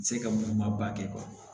Se ka muguma ba kɛ